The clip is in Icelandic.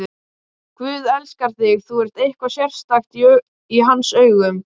Guð elskar þig, þú ert eitthvað sérstakt í hans augum.